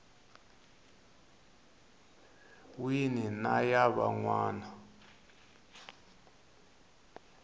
wini na ya van wana